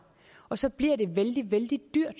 og så bliver det vældig vældig dyrt